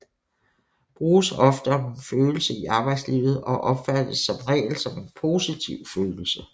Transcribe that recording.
Bruges ofte om en følelse i arbejdslivet og opfattes som regel som en positiv følelse